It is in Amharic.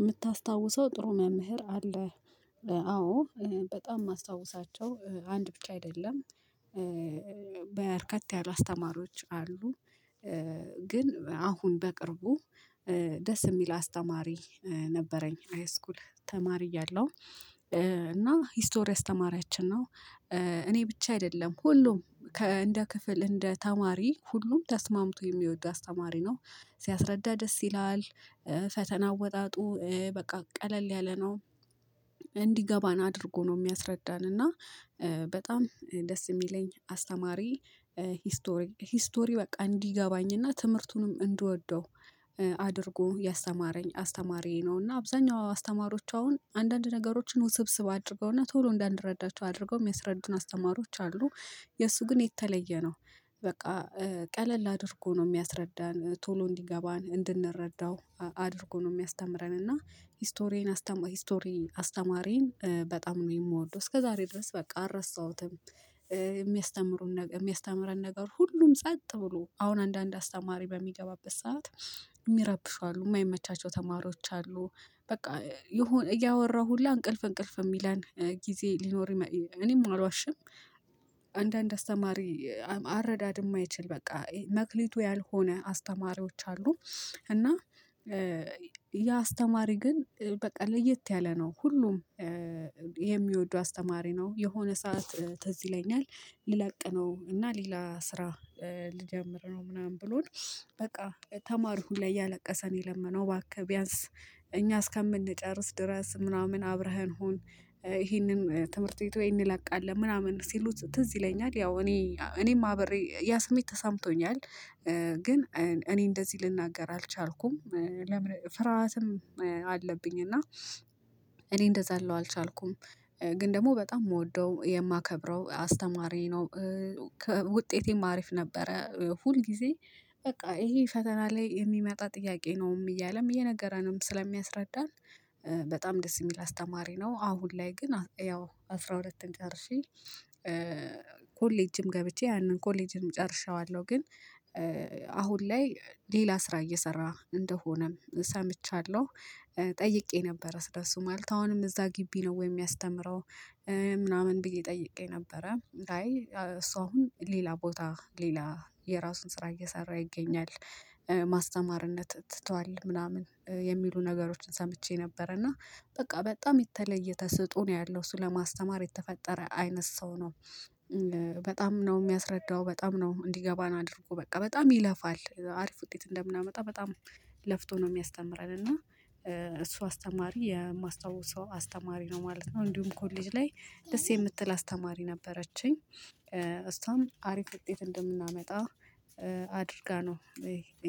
የምታስታውሰው ጥሩ መምህር አለ አዎ በጣም የማስታውሳቸው አንድ ብቻ አይደለም በርከት ያሉ አስተማሪዎች አሉ። ግን አሁን በቅርቡ ደስ የሚል አስተማሪ ነበረኝ ሃይስኩል ተማሪ እያለሁ። እና ሂስቶሪ አስተማሪያችን ነው። እኔ ብቻ አይደለም ሁሉም ከ እንደ ክፍል እንደ ተማሪ ሁሉም ተስማምቶ የሚወደው አስተማሪ ነው። ሲያስረዳ ደስ ይላል። ፈተና ወጣጡ በቃ ቀለል ያለ ነው። እንዲገባን አድርጎ ነው የሚያስረዳን እና በጣም ደስ የሚለኝ አስተማሪ። ሂስቶሪ ሂስቶሪ በቃ እንዲገባኝና ትምህርቱንም እንድወደው አድርጎ ያስተማረኝ አስተማሪየ ነው። እና አብዛኛው አስተማሪዎች አሁን አንዳንድ ነገሮችን ውስብስብ አድርገውና ቶሎ እንዳንረዳቸው አድርገው የሚያስረዱን አስተማሪዎች አሉ። የእሱ ግን የተለየ ነው። በቃ ቀለል አድርጎ ነው የሚያስረዳን ቶሎ እንዲገባን እንድንረዳው አድርጎ ነው የሚያስተምረን። እና ሂስቶሪያን አስተማሪ ሂስቶሪ አስተማሪን በጣም ነው የምወደው። እስከዛሬ ድረስ በቃ አረሳሁትም ነገር የሚያስተምረን ነገር ሁሉም ጸጥ ብሎ አሁን አንዳንድ አስተማሪ በሚገባበት ሰዓት። የሚረብሹ አሉ የማይመቻቸው ተማሪዎች አሉ። በቃ የሆነ እያወራ ሁላ እንቅልፍ እንቅልፍ የሚለን ጊዜ ሊኖር እኔም አላዋሽም። አንዳንድ አስተማሪ አረዳድ የማይችል በቃ መክሊቱ ያልሆነ አስተማሪዎች አሉ። እና ያ አስተማሪ ግን በቃ ለየት ያለ ነው ሁሉም። የሚወዱ አስተማሪ ነው የሆነ ሰዓት ትዝ ይለኛል። ልለቅ ነው እና ሌላ ስራ ልጀምር ነው ምናምን ብሎን በቃ ተማሪው ሁላ እያለቀሰ ነው የለመነው ባክህ ቢያንስ እኛ እስከምንጨርስ ድረስ ምናምን አብረኸን ሁን። ይሄንን ትምህርት ቤት ወይ እንለቃለን ለምናምን ሲሉት ትዝ ይለኛል ያው እኔ እኔም አብሬ ያ ስሜት ተሳምቶኛል። ግን እኔ እንደዚህ ልናገር አልቻልኩም። ፍርሃትም አለብኝ እና እኔ እንደዛ አለው አልቻልኩም። ግን ደግሞ በጣም የምወደው የማከብረው አስተማሪ ነው። ከውጤቴም አሪፍ ነበረ ሁል ጊዜ በቃ ይሄ ፈተና ላይ የሚመጣ ጥያቄ ነው እያለም የነገረንም ስለሚያስረዳን በጣም ደስ የሚል አስተማሪ ነው። አሁን ላይ ግን ያው አስራ አራትን ጨርሼ። ኮሌጅም ገብቼ ያንን ኮሌጂንም ጨርሼዋለሁ። ግን አሁን ላይ ሌላ ስራ እየሰራ እንደሆነም ሰምቻለሁ። ጠይቄ ነበር ስለሱ ማለት አሁንም እዛ ግቢ ነው ወይ የሚያስተምረው? ምናምን ብዬ ጠይቄ ነበረ አይ እሷ አሁን ሌላ ቦታ ሌላ የራሱን ስራ እየሰራ ይገኛል። ማስተማርነት ትቷል ምናምን የሚሉ ነገሮችን ሰምቼ ነበር እና በቃ በጣም የተለየ ተሰጥኦ ነው ያለው እሱ ለማስተማር የተፈጠረ አይነት ሰው ነው። በጣም ነው የሚያስረዳው በጣም ነው እንዲገባን አድርጎ በቃ በጣም ይለፋል አሪፍ ውጤት እንደምናመጣ በጣም ለፍቶ ነው የሚያስተምረን። እና እሱ አስተማሪ የማስታውሰው አስተማሪ ነው ማለት ነው። እንዲሁም ኮሌጅ ላይ ደስ የምትል አስተማሪ ነበረችኝ እሷም አሪፍ ውጤት እንደምናመጣ አድርጋ ነው።